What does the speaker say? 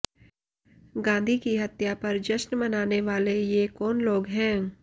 गांधी की हत्या पर जश्न मनाने वाले ये कौन लोग हैं